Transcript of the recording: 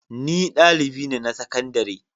Ni dalibi ne na sakandare.